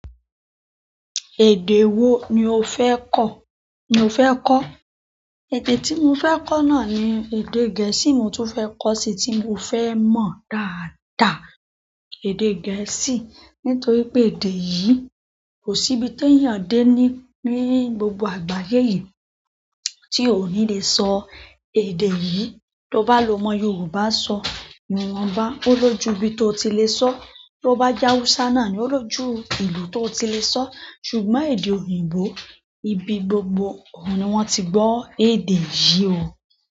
Èdè wo ni o fẹ́ kọ̀ ni o fẹ́ kọ́? Èdè tí mo fẹ́ kọ́ náà ni èdè gẹ̀ẹ́sì n mo tún fẹ́ kọ́ sí tí mo fẹ́ mọ̀ dáadáa èdè gẹ̀ẹ́sì, nítorí pé èdè yìí kò síbi ti eyàn dé ní-ní gbogbo àgbáyé yìí tí ó ní lè sọ èdè yìí. Tó bá lọ́ mọ Yorùbá sọ, ni wọ́n bá, ó lójú ibi tó ti lè sọ. Tó bá je Hausa náà ni ó lójú ìlú tó ti lè sọ. Ṣùgbọ́n èdè òyìnbó ibi gbogbo oun ni wọ́n ti gbọ́ èdè yìí o.